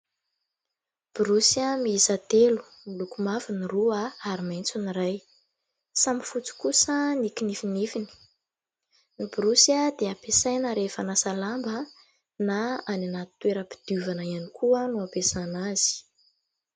Borosy miisa telo : miloko mavo ny roa, ary maitso ny iray. Samy fotsy kosa ny kinifinifiny. Ny borosy dia ampiasaina rehefa manasa lamba, na any anaty toeram-pidiovana ihany koa no ampiasana azy.